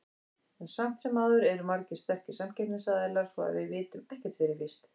En samt sem áður eru margir sterkir samkeppnisaðilar, svo að við vitum ekkert fyrir víst.